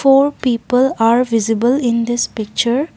four people are visible in this picture.